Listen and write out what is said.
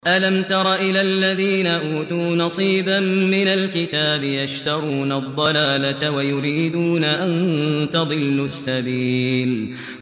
أَلَمْ تَرَ إِلَى الَّذِينَ أُوتُوا نَصِيبًا مِّنَ الْكِتَابِ يَشْتَرُونَ الضَّلَالَةَ وَيُرِيدُونَ أَن تَضِلُّوا السَّبِيلَ